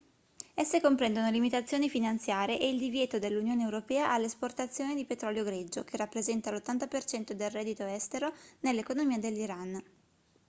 esse comprendono limitazioni finanziarie e il divieto dell'unione europea all'esportazione di petrolio greggio che rappresenta l'80% del reddito estero nell'economia dell'iran